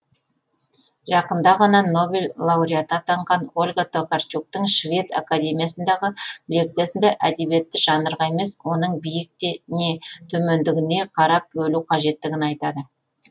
жақында ғана нобель лауреаты атанған ольга токарчуктың швед академиясындағы лекциясында әдебиетті жанрға емес оның биік не төмендігіне қарап бөлу қажеттігін айтады